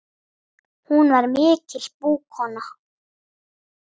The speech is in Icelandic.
Hún var mikil búkona.